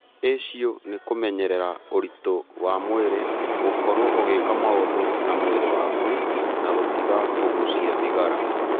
Acio nĩ kũmenyerera ũritũ wa mwĩrĩ, gũkorũo ũgĩka maũndu na mwĩrĩ waku na gũtiga kũgũcia thigara.